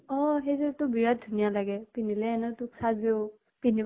অ সেইযোৰতো বিৰাত ধুনীয়া লাগে। পিন্ধিলে এনেও তোক চাজেও। পিন্ধিব